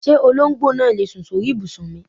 Ṣé olóńgbò náà lè sùn sóri ìbùsùn mi?